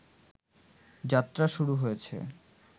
যাত্রা শুরু হয়েছে